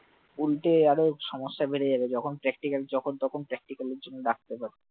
উলটো আরো সমস্যা বেড়ে যাবে যখন practical যখন তখন practical এর জন্য ডাকতে পারে